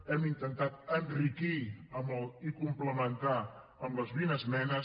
hem intentat enriquir i complementar amb les vint esmenes